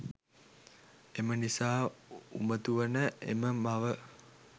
එමනිසා උමතු වන එම මව